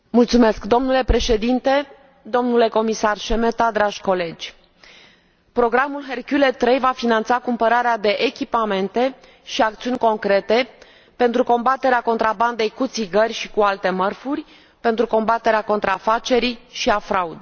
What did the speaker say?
Domnule președinte, domnule comisar Šemeta, dragi colegi, programul Hercule III va finanța cumpărarea de echipamente și acțiuni concrete pentru combaterea contrabandei cu țigări și cu alte mărfuri, pentru combaterea contrafacerii și a fraudei.